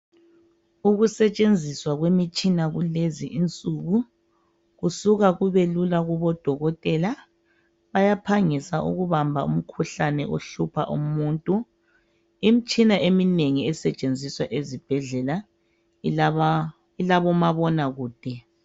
Ukusetshenziswa kwemitshina. kulezi insuku kusuka kubelula kubodokotela bayaphangisa ukubamba umkhuhlane ohlupha umuntu. Imtshina eminengi esetshenziswa ezibhedlela ilabomabonakude.